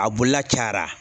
A bolila cayara